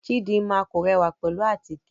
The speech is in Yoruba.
Chidinma kò rẹwa pẹlu àtíke